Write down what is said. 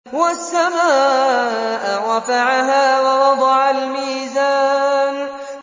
وَالسَّمَاءَ رَفَعَهَا وَوَضَعَ الْمِيزَانَ